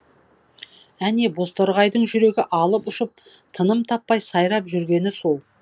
әне бозторғайдың жүрегі алып ұшып тыным таппай сайрап жүргені сол